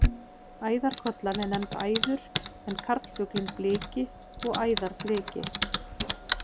Æðarkollan er nefnd æður en karlfuglinn bliki og æðarbliki.